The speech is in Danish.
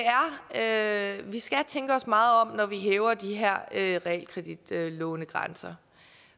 at vi skal tænke os meget om når vi hæver de her realkreditlånegrænser